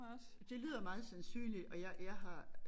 Det lyder meget sandsynligt og jeg jeg har